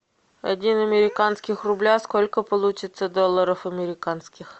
один американских рубля сколько получится долларов американских